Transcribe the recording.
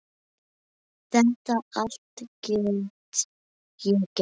Þetta allt get ég gert.